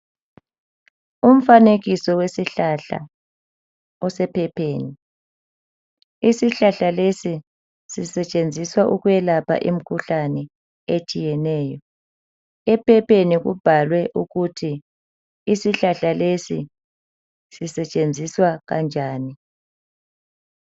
Umfanekiso wesihlahla osephepheni isihlahla lesi sisetshenziswa ukwelapha imikhuhlane etshiyeneyo. Ephepheni kubhalwe ukuthi isihlahla lesi sisetshenziswa kanjani.